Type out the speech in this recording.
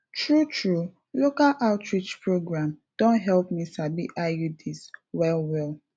true true local outreach program don help me sabi iuds well well